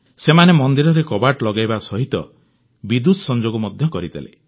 ସେମାନେ ମନ୍ଦିରରେ କବାଟ ଲଗାଇବା ସହ ବିଦ୍ୟୁତ୍ ସଂଯୋଗ ମଧ୍ୟ କରିଦେଲେ